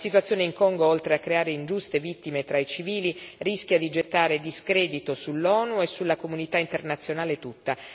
La situazione in Congo, oltre a creare ingiuste vittime tra i civili, rischia di gettare discredito sull'ONU e sulla comunità internazionale tutta.